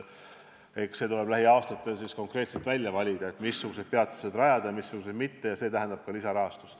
Eks tuleb lähiaastatel konkreetselt välja valida, missugused peatused rajada ja missugused jätta rajamata, ja see tähendab ka lisarahastust.